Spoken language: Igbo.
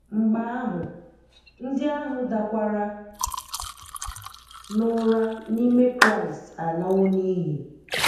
Mgbe ahụ, ndị ahụ dakwara n’ụra n’ime Kraịst alawo n’iyi.